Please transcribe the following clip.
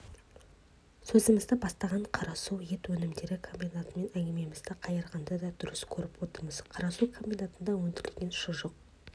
сөзімізді бастаған қарасу ет өнімдері комбинатымен әңгімемізді қайырғанды да дұрыс көріп отырмыз қарасу комбинатында өндірілген шұжық